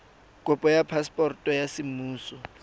kopo ya phaseporoto ya semmuso